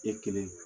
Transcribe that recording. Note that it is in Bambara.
E kelen